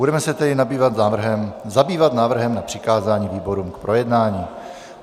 Budeme se tedy zabývat návrhem na přikázání výborům k projednání.